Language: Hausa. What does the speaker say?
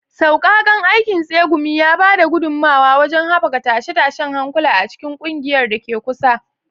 Sauƙaƙan aikin tsegumi ya ba da gudummawa wajen haɓaka tashe-tashen hankula a cikin ƙungiyar da ke kusa.